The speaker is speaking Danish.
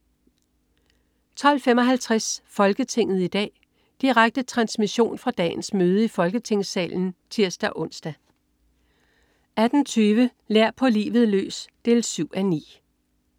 12.55 Folketinget i dag. Direkte transmission fra dagens møde i Folketingssalen (tirs-ons) 18.20 Lær. på livet løs: 7:9